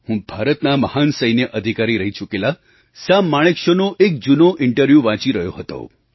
હું ભારતના મહાન સૈન્ય અધિકારી રહી ચૂકેલા સામ માણેકશૉનો એક જૂનો ઇન્ટરવ્યૂ વાંચી રહ્યો હતો